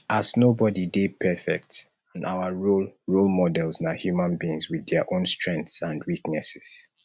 as nobody dey perfect and our role role models na human beings with dia own strengths and weaknesses